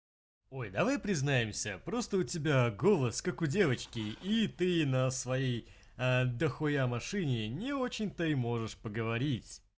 ой давай признаемся просто у тебя голос как у девочки и ты на своей дохуя машине не очень то и можешь поговорить